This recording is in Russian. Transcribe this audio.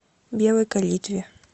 белой калитве